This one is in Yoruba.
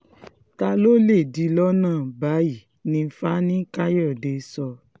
ta ló lè dí i lọ́nà báyìí ni fani-kàyọ̀dé sọ